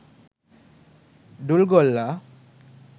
dul golla